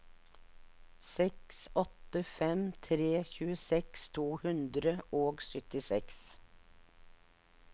seks åtte fem tre tjueseks to hundre og syttiseks